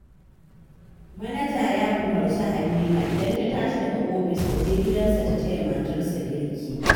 Manaja ya umarci Halima idan ta tashi daga ofis ta je gidansa ta taya matarsa girki